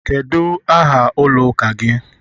Kedu aha ụlọ ụka gị?